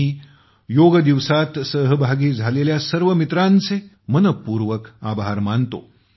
मी योग दिवसात सहभागी झालेल्या सर्व मित्रांचे मनःपूर्वक आभार मानतो